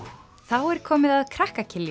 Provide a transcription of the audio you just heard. er komið að krakka